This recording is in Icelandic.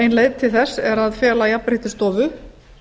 ein leið til þess er að fela jafnréttisstofu